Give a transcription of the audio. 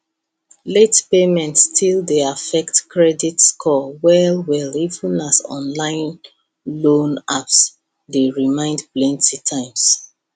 late payment still dey affect credit score well well even as online loan apps dey remind plenty times